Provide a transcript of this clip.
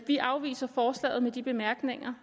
vi afviser forslaget med de bemærkninger